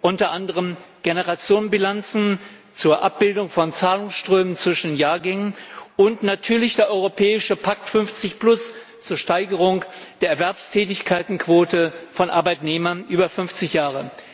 unter anderem Generationenbilanzen zur Abbildung von Zahlungsströmen zwischen Jahrgängen und natürlich der europäische Pakt 50plus zur Steigerung der Erwerbstätigenquote von Arbeitnehmern über fünfzig Jahre.